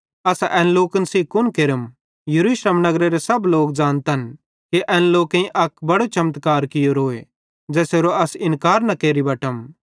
असां एन लोकन सेइं कुन केरम यरूशलेम नगरेरे सब लोक ज़ानतन कि एन लोकेईं अक बड़ो चमत्कार कियोरोए ज़ेसेरो अस इन्कार न केरि बटम